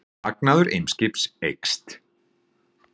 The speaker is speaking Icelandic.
Hagnaður Eimskips eykst